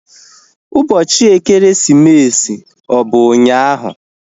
Ụbọchị ekeresimesi ọ bụ ụnyaahụ?